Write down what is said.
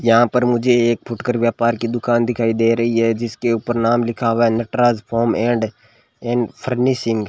यहां पर मुझे एक फुटकर व्यापार की दुकान दिखाई दे रही है जिसके ऊपर नाम लिखा हुआ है Nataraj foam and and furnishing.